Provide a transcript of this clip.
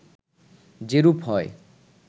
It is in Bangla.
যেরূপ হয়